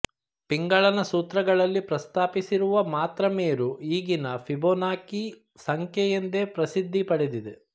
ಪಿಂಗಳನ ಸೂತ್ರಗಳಲ್ಲಿ ಪ್ರಸ್ತಾಪಿಸಿರುವ ಮಾತ್ರಾಮೇರು ಈಗಿನ ಫಿಬೋನಾಕಿ ಸಂಖ್ಯೆ ಎಂದೇ ಪ್ರಸಿದ್ಧಿಪಡೆದಿದೆ